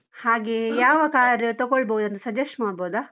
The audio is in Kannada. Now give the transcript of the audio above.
ಹಾಗೆ ಯಾವ car ತಗೊಳ್ಬೋದಂತ suggest ಮಾಡ್ಬೋದಾ?